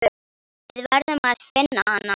Við verðum að finna hann.